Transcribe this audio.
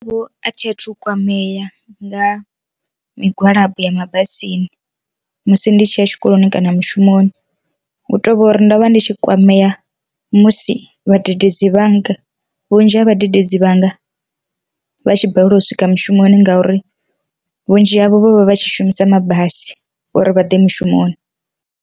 Vho a thi athu kwamea nga migwalabo ya mabasini musi ndi tshi ya tshikoloni kana mushumoni, hu tovhori ndovha ndi tshi kwamea musi vhadededzi vhanga vhunzhi ha vhadededzi vhanga vha tshi balelwa u swika mushumoni ngauri vhunzhi havho vho vha vha tshi shumisa mabasi uri vha ḓe mushumoni.